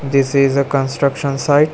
This is a construction site.